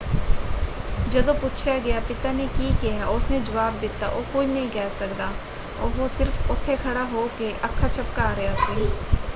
ਜਦੋਂ ਪੁੱਛਿਆ ਗਿਆ ਪਿਤਾ ਨੇ ਕੀ ਕਿਹਾ ਉਸਨੇ ਜਵਾਬ ਦਿੱਤਾ ਉਹ ਕੁਝ ਨਹੀਂ ਕਹਿ ਸਕਦਾ - ਉਹ ਸਿਰਫ਼ ਉੱਥੇ ਖੜ੍ਹਾ ਹੋ ਕੇ ਅੱਖਾਂ ਝੱਪਕਾਂ ਰਿਹਾ ਸੀ।